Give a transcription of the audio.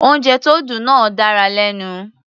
Oúnjẹ tó dùn náà dára lẹ́nu.